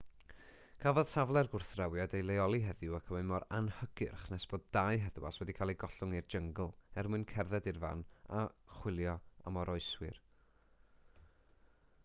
cafodd safle'r gwrthdrawiad ei leoli heddiw ac mae mor anhygyrch nes bod dau heddwas wedi cael eu gollwng i'r jyngl er mwyn cerdded i'r fan a chwilio am oroeswyr